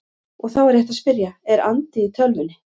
Og þá er rétt að spyrja: Er andi í tölvunni?